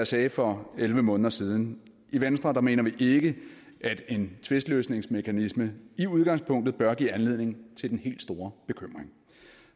sagde for elleve måneder siden i venstre mener vi ikke at en tvistløsningsmekanisme i udgangspunktet bør give anledning til den helt store bekymring